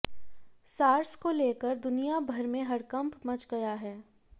SARS को लेकर दुनिया भर में हड़कंप मच गया है